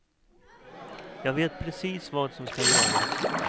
Jag vet precis vad som ska göras.